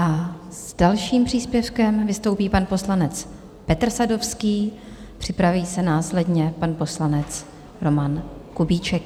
A s dalším příspěvkem vystoupí pan poslanec Petr Sadovský, připraví se následně pan poslanec Roman Kubíček.